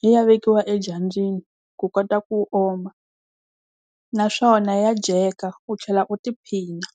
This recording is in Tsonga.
yi ya vekiwa edyambyini ku kota ku oma. Naswona ya dyeka u tlhela u tiphina.